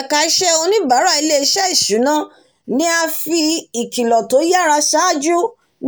ẹka iṣẹ́ oníbàárà ilé-iṣẹ́ ìṣúná ni a fi ìkìlọ̀ tó yara ṣáájú